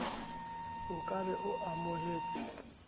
o ka be o amohetse